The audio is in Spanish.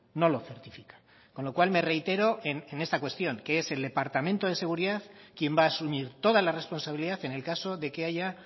no lo certifica con lo cual me reitero en esta cuestión que es el departamento de seguridad quien va a asumir toda la responsabilidad en el caso de que haya